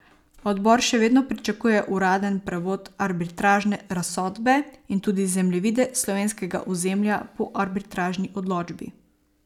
Odbor še vedno pričakuje uraden prevod arbitražne razsodbe in tudi zemljevide slovenskega ozemlja po arbitražni odločbi.